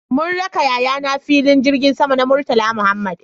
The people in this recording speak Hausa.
Mun raka yayana filin jirgin sama na Murtala Muhammad